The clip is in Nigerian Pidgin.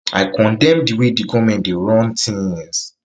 i condemn di way di goment dey run tinz